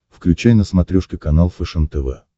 включай на смотрешке канал фэшен тв